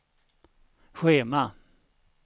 schema